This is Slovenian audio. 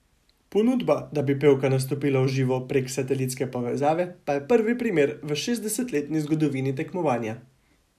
Ponudba, da bi pevka nastopila v živo prek satelitske povezave, pa je prvi primer v šestdesetletni zgodovini tekmovanja.